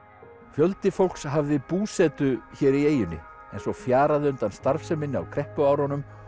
fjöldi fólks hafði búsetu hér í eyjunni en svo fjaraði undan starfseminni á kreppuárunum